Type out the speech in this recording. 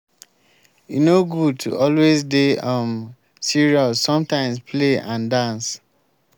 e no good to always dey um serious sometimes play and dance